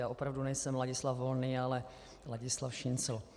Já opravdu nejsem Ladislav Volný, ale Ladislav Šincl.